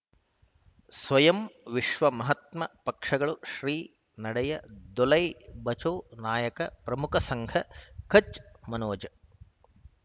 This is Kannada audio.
ಸ್ವಯಂ ವಿಶ್ವ ಮಹಾತ್ಮ ಪಕ್ಷಗಳು ಶ್ರೀ ನಡೆಯ ದೋಲೈ ಬಚೌ ನಾಯಕ ಪ್ರಮುಖ ಸಂಘ ಕಚ್ ಮನೋಜ್